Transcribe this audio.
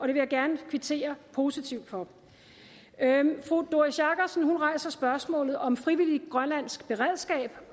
jeg gerne kvittere positivt for fru doris jakobsen rejser spørgsmålet om et frivilligt grønlandsk beredskab